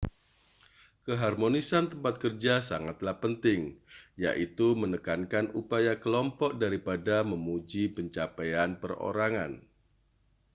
keharmonisan tempat kerja sangatlah penting yaitu menekankan upaya kelompok daripada memuji pencapaian perorangan